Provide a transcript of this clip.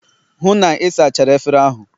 hụ na ị sachara efere ahụ!